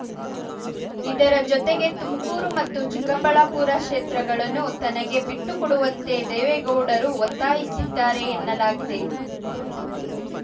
ಇದರ ಜೊತೆಗೆ ತುಮಕೂರು ಮತ್ತು ಚಿಕ್ಕಬಳ್ಳಾಪುರ ಕ್ಷೇತ್ರಗಳನ್ನು ತನಗೆ ಬಿಟ್ಟುಕೊಡುವಂತೆ ದೇವೇಗೌಡರು ಒತ್ತಾಯಿಸಿದ್ದಾರೆ ಎನ್ನಲಾಗಿದೆ